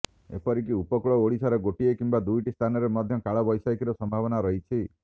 ଏପରିକି ଉପକୂଳ ଓଡ଼ିଶାର ଗୋଟିଏ କିମ୍ବା ଦୁଇଟି ସ୍ଥାନରେ ମଧ୍ୟ କାଳବୈଶାଖୀର ସମ୍ଭାବନା ରହିଛି